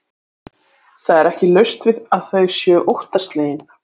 Það er ekki laust við að þau séu óttaslegin.